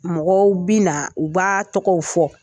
Mɔgɔw bI na , u b'a tɔgɔw fɔ.